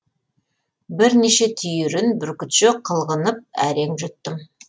бірнеше түйірін бүркітше қылғынып әрең жұттым